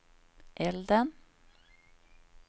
elden